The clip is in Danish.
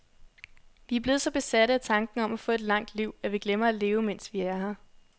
Vi er blevet så besatte af tanken om at få et langt liv, at vi glemmer at leve, mens vi er her.